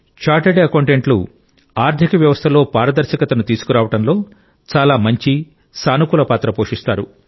chartered అకౌంటెంట్లు ఆర్థిక వ్యవస్థలో పారదర్శకతను తీసుకురావడంలో చాలా మంచి సానుకూల పాత్ర పోషిస్తారు